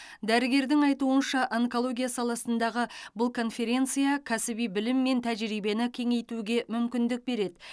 дәрігердің айтуынша онкология саласындағы бұл конференция кәсіби білім мен тәжірибені кеңейтуге мүмкіндік береді